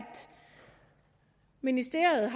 ministeriet